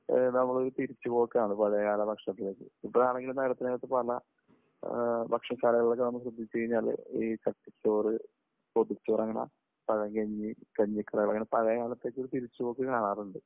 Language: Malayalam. നമ്മൾ തിരിച്ചു പോക്കാണ്, പഴയകാല ഭക്ഷണത്തിലേക്ക്. ഇപ്പോഴാണ് എങ്കിലും നേരത്തെ നേരത്തെ പല ഭക്ഷണശാലകൾ ഒക്കെ നമ്മൾ ശ്രദ്ധിച്ചുകഴിഞ്ഞാൽ ഈ ചോറ്, പൊതിച്ചോറ്, അങ്ങനെ പഴങ്കഞ്ഞി, കഞ്ഞിക്കടകൾ, അങ്ങനെ പഴയ കാലത്തേക്ക് ഒരു തിരിച്ചുപോക്ക് കാണാറുണ്ട്